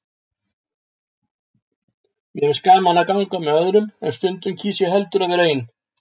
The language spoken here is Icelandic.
Mér finnst gaman að ganga með öðrum, en stundum kýs ég heldur að vera ein.